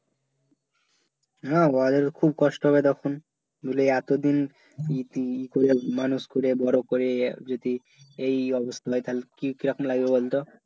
হ্যাঁ ওদের খুব কষ্ট হবে তখন বুঝলি এতো দিন ইতি ই করে মানুষ করে বড় করে যদি এই অবস্থা হয় তালে কি কেমন লাগবে বলত